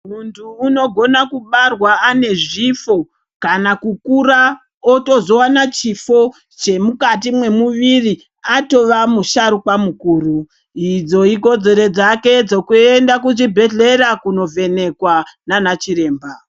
Muntu unogona kubarwa anezvifo kana kukura ozotowana chifo chemukati mwemuviri arova musharukwa mukuru idzo ikodzero dzake dzokuenda kuchibhedhlera kunovhenekwa nana chiremba.